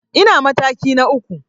Ina mataki na uku.